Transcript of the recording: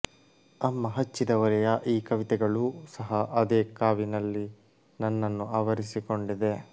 ಅಮ್ಮ ಹಚ್ಚಿದ ಒಲೆೆಯ ಈ ಕವಿತೆಗಳೂ ಸಹ ಅದೇ ಕಾವಿನಲ್ಲಿ ನನ್ನನ್ನು ಆವರಿಸಿಕೊಂಡಿದೆ